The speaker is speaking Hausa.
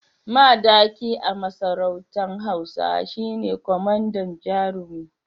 Madaki a masarautar hausa shine kwamandan jarumi